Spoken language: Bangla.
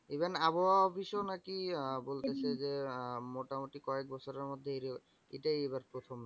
Even আবহাওয়া office ও নাকি আহ বলতেসে, যে আহ মোটামুটি কয়েক বছরের মধ্যে এটাই এইবার প্রথম।